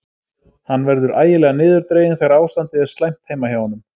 Hann verður ægilega niðurdreginn þegar ástandið er slæmt heima hjá honum.